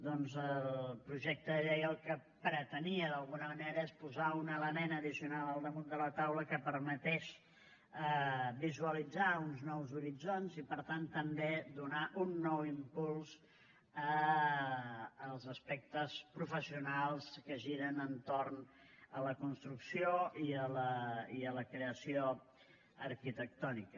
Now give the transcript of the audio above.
doncs el projecte de llei el que pretenia d’alguna manera és posar un element addicional al damunt de la taula que permetés visualitzar uns nous horitzons i per tant també donar un nou impuls als aspectes professionals que giren entorn de la construcció i de la creació arquitectònica